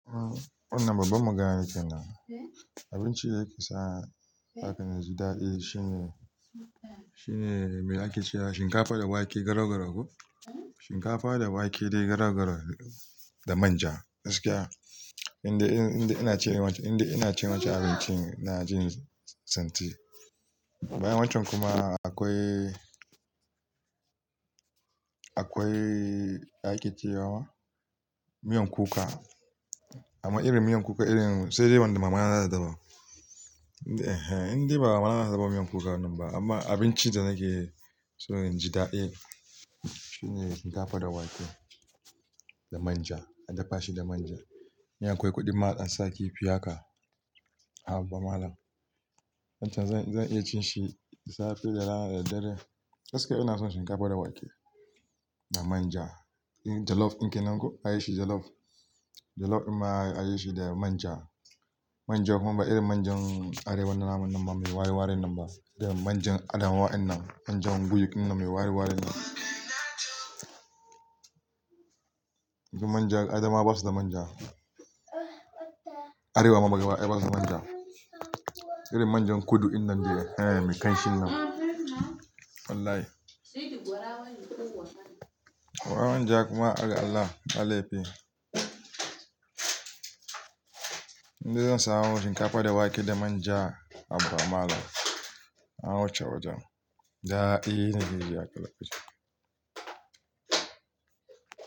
Wannan babban magana kenan. Abincin da yake sa haka naji daɗi shine, shine mai ake cewa shinkafa da wake garau-garau ko? Shinkafa da wake dai garau-garau da manja, gaskiya. Inde ina cin irin, inda ina cin wancan abincin ina jin santi. Bayan wancan kuma akwai, akwai ake ce wa miyan kuka, amma irin miyan kuka irin sai dai wanda mamana za ta dafa. Indai ba mamana za ta dafa miyan kuka nan ba, amma abincin da nake so inji daɗi shine shinkafa da wake da manja, an dafa shi da manja. In akwai kuɗin ma an sa kifi haka, habba malam. Wancan zan iya cin shi safe da rana da dare. Gaskiya ina son shinkafa da wake da manja. Jollof in ke nan ko? Shi jollof. Jollof in ma a yi shi da manja. Manja kuma ba irin manjan Arewa na naman nan ba, me waye warin nan ba. Da manjan Adamawa in nan, manjan buyuk in nan me waye warin nan. Inda manja, Adamawa basu da manja. Arewa ma gabadaya basu da manja. Irin manjan kudu in nan dai, eh me kanshin nan. Wallahi. Manja kuma Allah, Allah ya fi. Indai zan samu shinkafa da wake da manja habba malam a wuce wajen, daɗi nakeji a lokacin.